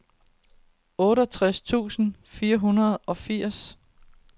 otteogtres tusind fire hundrede og enogfirs